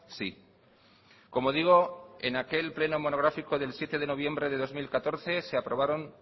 sí como digo en aquel pleno monográfico del siete de noviembre de dos mil catorce se aprobaron